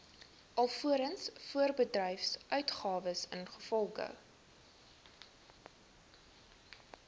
alvorens voorbedryfsuitgawes ingevolge